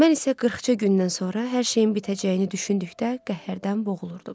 Mən isə qırxca gündən sonra hər şeyin bitəcəyini düşündükdə qəhərdən boğulurdum.